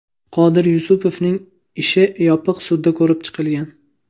Qodir Yusupovning ishi yopiq sudda ko‘rib chiqilgan.